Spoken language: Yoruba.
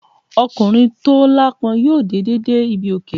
Ọkùnrin tó aláápọn yóò dìde dé ibi òkè.